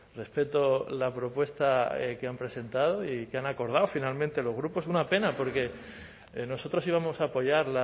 respeto la propuesta que han presentado y que han acordado finalmente los grupos una pena porque nosotros íbamos a apoyar